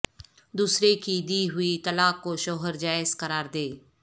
دوسرے کی دی ہوئی طلاق کو شوہر جائز قرار دے